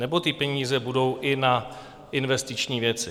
Nebo ty peníze budou i na investiční věci?